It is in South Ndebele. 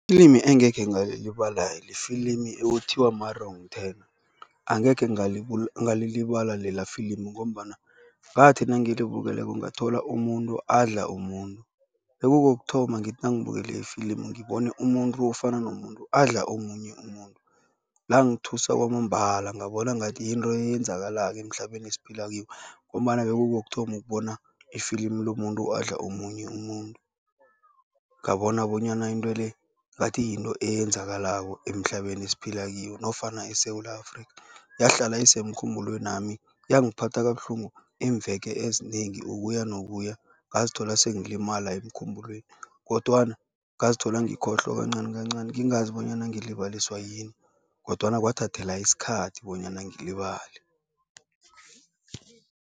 Ilimi engekhe ngalilibala lifilimu ekuthiwa ma-Wrong Turn. Angekhe ngalilibala lela filimu ngombana ngathi nangilibukeleko ngathola umuntu adla umuntu. Bekukokuthoma ngithi nangibukele ifilimu ngibone umuntu ofana nomuntu adla omunye umuntu. Langithusa kwamambala, ngabona ngathi yinto eyenzakalako emhlabeni esiphila kiwo ngombana bekukokuthoma ukubona ifilimu lomuntu adla omunye umuntu. Ngabona bonyana into le, ngathi yinto eyenzakalako emhlabeni esiphila kiwo nofana eSewula Afrika. Yahlala isemkhumbulwenami, yangiphatha kabuhlungu iimveke ezinengi ukuya nokuya, ngazithola sengilimala emkhumbulweni kodwana ngazithola ngikhohlwa kancani kancani, ngingazi bonyana ngilibaliswa yini kodwana kwathathela isikhathi bonyana ngilibale.